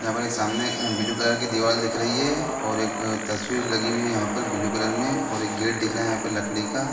यहाँ पर एक सामने ब्लू कलर की दीवाल दिख रही है और एक तस्वीर लगी हुई है यहाँ पर ब्लू कलर में और गेट दिख रहा है यहाँ पर लड़की का--